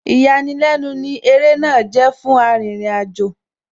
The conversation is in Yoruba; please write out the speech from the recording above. Ìyàlẹ́nu ní ó eré náà jẹ́ fún Arìnrìn-àjò,